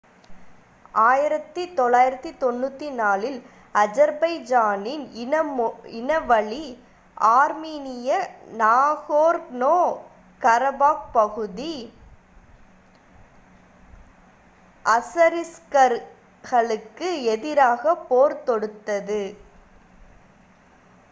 1994ல் அஜர்பைஜானின் இனவழி ஆர்மீனிய நகோர்னோ-கரபாக் பகுதி அசரிஸ்களுக்கு எதிராக போர் தொடுத்தது